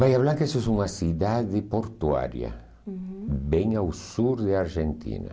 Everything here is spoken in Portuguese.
Baía Blanca é uma cidade portuária, uhum, bem ao sul da Argentina.